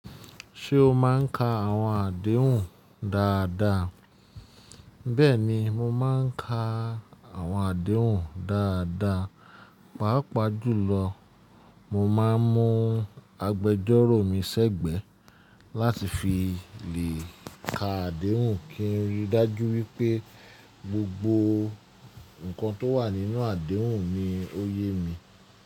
Ṣé o má ń ka àwọn àdéhùn dáadáa? Bẹ́ẹ̀ni, mo má ń ka àwọn àdéhùn dáadáa. Pàápàá jùlọ, mo máa ń mú agbẹjọ́rò mi sẹ́gbẹ̀ẹ́ láti fi lè ka àdéhùn kí n rí dájú wípé gbogbo ǹkan tó wà nínú àdéhùn ni ó yé mi.